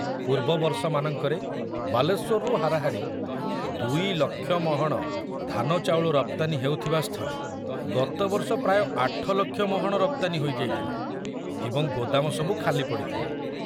ପୂର୍ବ ବର୍ଷମାନଙ୍କରେ ବାଲେଶ୍ବରରୁ ହାରାହାରି ଦୁଇଲକ୍ଷ ମହଣ ଧାନଚାଉଳ ରପ୍ତାନୀ ହେଉଥିବାସ୍ଥଳେ ଗତବର୍ଷ ପ୍ରାୟ ଆଠଲକ୍ଷ ମହଣ ରପ୍ତାନୀ ହୋଇଯାଇଥିଲା ଏବଂ ଗୋଦାମ ସବୁ ଖାଲି ପଡ଼ିଥିଲା।